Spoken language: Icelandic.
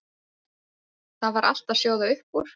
Það var allt að sjóða upp úr.